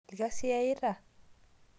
Lkazi eyiita